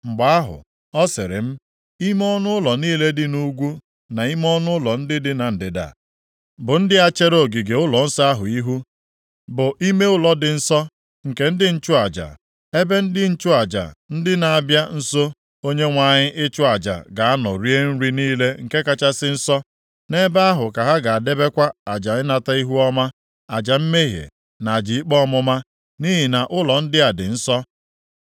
Mgbe ahụ, ọ sịrị m, “Ime ọnụụlọ niile dị nʼugwu, na ime ọnụụlọ ndị dị na ndịda, bụ ndị a chere ogige ụlọnsọ ahụ ihu, bụ ime ụlọ dị nsọ, nke ndị nchụaja. Ebe ndị nchụaja ndị na-abịa nso Onyenwe anyị ịchụ aja ga-anọ rie nri niile nke kachasị nsọ, nʼebe ahụ ka ha ga-edebekwa aja ịnata ihuọma, aja mmehie na aja ikpe ọmụma, nʼihi na ụlọ ndị a dị nsọ.